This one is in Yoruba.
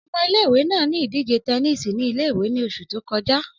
Ọmọ ìle-ìwe naa ni idije tẹníìsì ni ìle-ìwe ni oṣu to kọja.